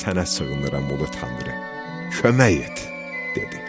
Sənə sığınıram Ulu Tanrı, kömək et", dedi.